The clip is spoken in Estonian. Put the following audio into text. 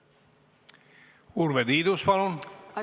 Urve Tiidus, palun!